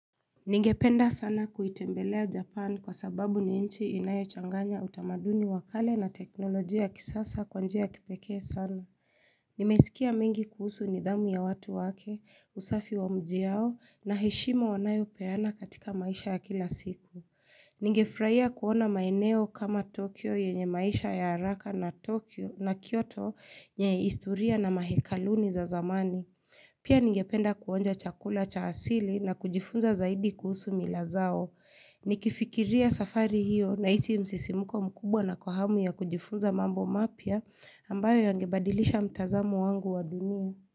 Ningependa sana kuitembelea Japan kwa sababu ni inchi inayochanganya utamaduni wakale na teknolojia ya kisasa kwa njia kipekee sana. Nimesikia mengi kuhusu nidhamu ya watu wake, usafi wa mji yao na heshima wanayo peana katika maisha ya kila siku. Ningefurahia kuona maeneo kama Tokyo yenye maisha ya haraka na Tokyo na Kyoto yenye historia na mahekaluni za zamani. Pia ningependa kuonja chakula cha asili na kujifunza zaidi kuhusu mila zao. Nikifikiria safari hiyo na nahisi msisimuko mkubwa na kwa hamu ya kujifunza mambo mapia ambayo yangebadilisha mtazamo wangu wa dunia.